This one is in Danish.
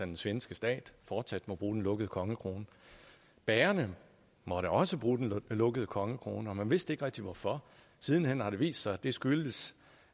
den svenske stat fortsat må bruge den lukkede kongekrone bagerne måtte også bruge den lukkede kongekrone og man vidste ikke rigtig hvorfor siden hen har det vist sig at det skyldes